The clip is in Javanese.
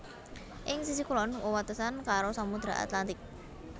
Ing sisih kulon wewatesan karo Samudra Atlantik